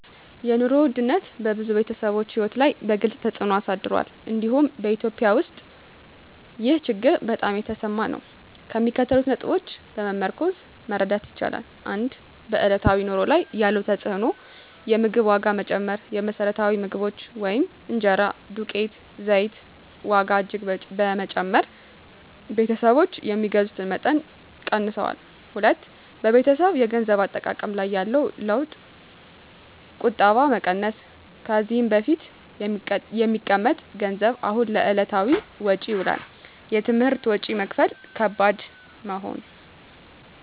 የኑሮ ውድነት በብዙ ቤተሰቦች ሕይወት ላይ ግልፅ ተፅዕኖ አሳድሯል፤ እንዲሁም በEthiopia ውስጥ ይህ ችግር በጣም የተሰማ ነው። ከሚከተሉት ነጥቦች በመመርኮዝ መረዳት ይቻላል፦ 1. በዕለታዊ ኑሮ ላይ ያለው ተፅዕኖ የምግብ ዋጋ መጨመር: የመሰረታዊ ምግቦች (እንጀራ፣ ዱቄት፣ ዘይት) ዋጋ እጅግ በመጨመር ቤተሰቦች የሚገዙትን መጠን ቀንሰዋል። 2. በቤተሰብ የገንዘብ አጠቃቀም ላይ ያለው ለውጥ ቁጠባ መቀነስ: ከዚህ በፊት የሚቀመጥ ገንዘብ አሁን ለዕለታዊ ወጪ ይውላል። የትምህርት ወጪ መክፈል ከባድ መሆን